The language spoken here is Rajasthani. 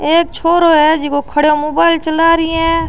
एक छोरो है जीका खडियो मोबाइल चला री है।